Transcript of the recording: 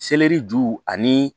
Seleri ju ani